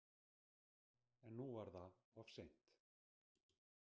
En nú var það of seint.